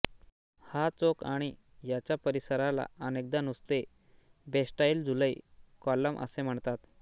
हा चौक आणि याच्या परिसराला अनेकदा नुसते बॅस्टाइल जुलै कॉलम असे म्हणतात